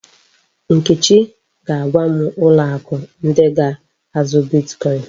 Nkechi ga-agwa m ụlọ akụ ndị ga-azụ bitkọin.